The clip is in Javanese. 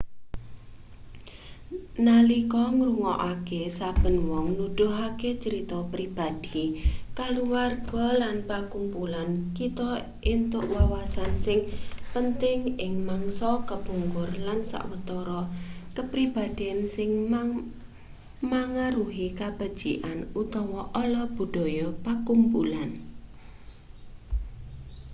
nalika ngrungokake saben wong nuduhake crita pribadi kulawarga lan pakumpulan kita entuk wawasan sing penting ing mangsa kepungkur lan sawetara kapribaden sing mangaruhi kabecikan utawa ala budaya pakumpulan